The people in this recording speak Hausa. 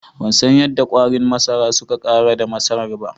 Bansan yadda kwarin masara suka Ƙarar da masarar ba.